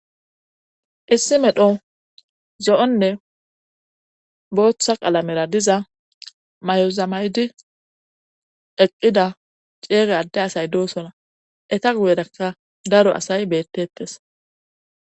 issi medho zo7onne booththa qalamera diza mayozamaydi eqqida ceege adde asay doosona eta guyedakka daro asay bettettes